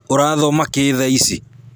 ũrathoma kĩ thaa ici?